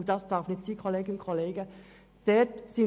Dies wurde auch von der BKSE belegt, und das darf nicht sein.